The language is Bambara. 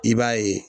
I b'a ye